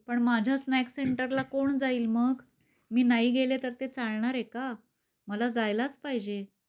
पण माझा स्नॅक्स सेंटरला कोण जाईल मग, मी नाही गेले तर ते चालणार आहे का?मला जायलाच पाहिजे